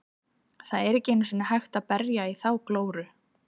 Það er ekki einu sinni hægt að berja í þá glóru.